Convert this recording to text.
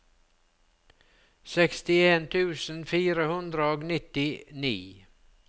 sekstien tusen fire hundre og nittini